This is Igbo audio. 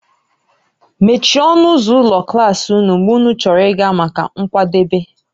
Mechie ọnụ ụzọ ụlọ klas ụnụ mgbe ụnụ chọrọ ịga maka nkwadebe